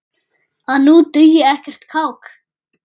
að nú dugi ekkert kák!